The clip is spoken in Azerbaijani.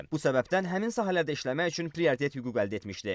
Bu səbəbdən həmin sahələrdə işləmək üçün prioritet hüquq əldə etmişdi.